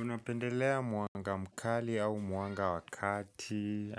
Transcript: Unapendelea mwanga mkali au mwanga wa kati